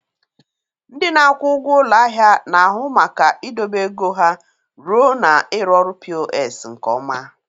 Ndị na-akwụ ụgwọ ụlọ ahịa na-ahụ maka idobe ego ha ruo na ịrụ ọrụ POS nke ha.